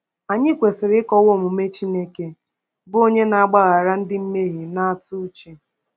Anyị kwesịrị ịkọwa omume Chineke, bụ onye na-agbaghara ndị mmehie na-atụ uche.